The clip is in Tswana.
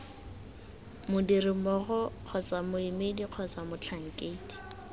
modirimmogo kgotsa moemedi kgotsa motlhankedi